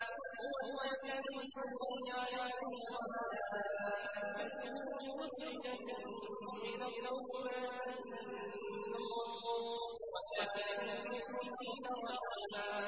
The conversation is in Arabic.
هُوَ الَّذِي يُصَلِّي عَلَيْكُمْ وَمَلَائِكَتُهُ لِيُخْرِجَكُم مِّنَ الظُّلُمَاتِ إِلَى النُّورِ ۚ وَكَانَ بِالْمُؤْمِنِينَ رَحِيمًا